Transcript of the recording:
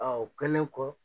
Aa o kɛlen kɔ